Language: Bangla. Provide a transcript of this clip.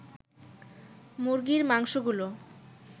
মুরগির মাংসগুলো